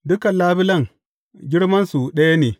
Dukan labulen, girmansu ɗaya ne.